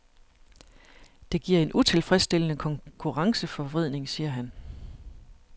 Det giver en utilfredsstillende konkurrenceforvridning, siger han.